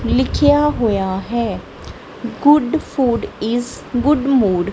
ਲਿਖਿਆ ਹੋਇਆ ਹੈ good food is good mood.